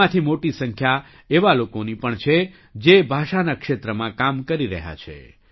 તેમાંથી મોટી સંખ્યા એવા લોકોની પણ છે જે ભાષાના ક્ષેત્રમાં કામ કરી રહ્યા છે